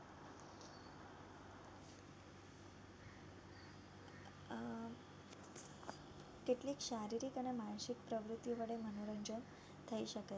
કેટલીક શારીરિક અને માનસિક પ્રવૃત્તિ વડે મનોરંજન થઈ શકે છે